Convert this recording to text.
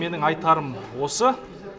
менің айтарым осы